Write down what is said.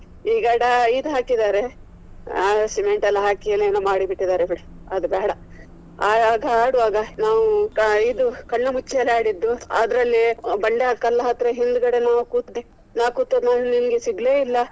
ಈಗ ಡ~ ಇದು ಹಾಕಿದ್ದಾರೆ cement ಎಲ್ಲಾ ಹಾಕಿ ಏನೇನೊ ಮಾಡಿ ಬಿಟ್ಟಿದ್ದಾರೆ ಬಿಡು ಅದು ಬೇಡ. ಆಗ ಆಡ್ವಾಗ ನಾವು ಇದು ಕಣ್ಣು ಮುಚ್ಚಾಲೆ ಆಡಿದ್ದು ಅದ್ರಲ್ಲಿ ಬಂಡೆದ್ ಕಲ್ಲ್ ಹತ್ರ ಹಿಂದ್ಗಡೆ ನಾವು ಕೂತಿದ್ದು. ನಾ ಕೂತದ್ದು ನಾನು ನಿನಗೆ ಸಿಗಲೇ ಇಲ್ಲ.